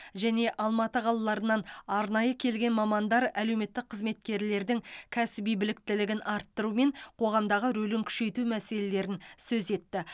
және алматы қалаларынан арнайы келген мамандар әлеуметтік қызметкерлердің кәсіби біліктілігін арттыру мен қоғамдағы рөлін күшейту мәселелерін сөз етті